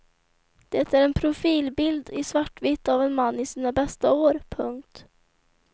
Det är en profilbild i svartvitt av en man i sina bästa år. punkt